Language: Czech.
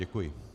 Děkuji.